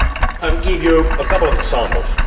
I will give you a couple of examples.